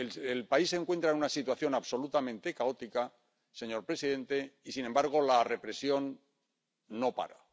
El país se encuentra en una situación absolutamente caótica, señor presidente, y, sin embargo, la represión no para.